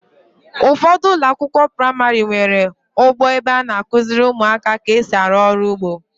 Ụfọdụ ụlọakwụkwọ praịmarị nwere ugbo ebe a na-akụziri ụmụaka ka esi arụ ọrụ ugbo.